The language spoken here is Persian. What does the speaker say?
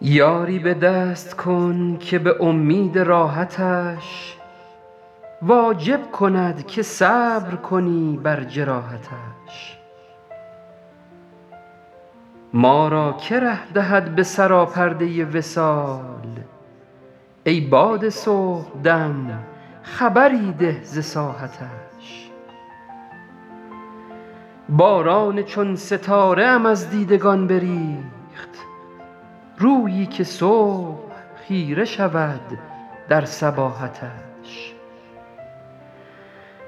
یاری به دست کن که به امید راحتش واجب کند که صبر کنی بر جراحتش ما را که ره دهد به سراپرده وصال ای باد صبح دم خبری ده ز ساحتش باران چون ستاره ام از دیدگان بریخت رویی که صبح خیره شود در صباحتش